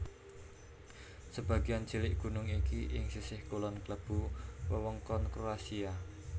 Sebagéan cilik gunung iki ing sisih kulon klebu wewengkon Kroasia